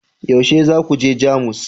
yaushe za ku je Jamus